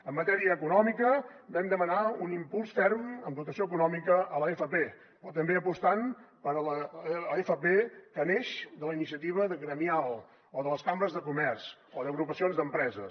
en matèria econòmica vam demanar un impuls ferm amb dotació econòmica a l’fp però també apostant per l’fp que neix de la iniciativa gremial o de les cambres de comerç o d’agrupacions d’empreses